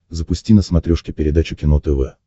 запусти на смотрешке передачу кино тв